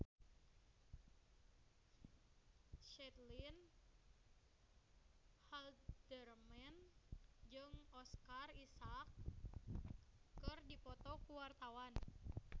Caitlin Halderman jeung Oscar Isaac keur dipoto ku wartawan